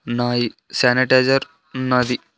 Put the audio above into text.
ఉన్నాయి స్యనిటైజర్ ఉన్నాది.